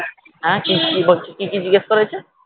হ্যাঁ কি হচ্ছে কি কি জিজ্ঞাসা করেছে